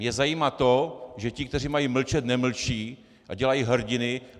Mě zajímá to, že ti, kteří mají mlčet, nemlčí a dělají hrdiny.